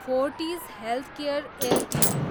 Fortis healthcare Ltd